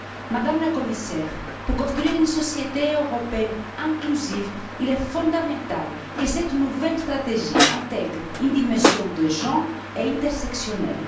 Madame la Commissaire, pour construire une société européenne inclusive, il est fondamental que cette nouvelle stratégie intègre une dimension des genres intersectionnelle.